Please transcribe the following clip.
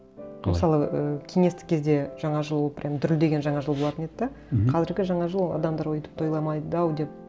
қалай мысалы ы кеңестік кезде жаңа жыл прямо дүрілдеген жаңа жыл болатын еді де мхм қазіргі жаңа жыл адамдар өйтіп тойламайды ау деп